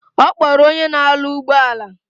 Okporo onye na alu ugboala